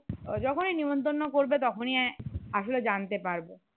যখনই নিমত্রন করবে তখনই আসলে জানতে পারবো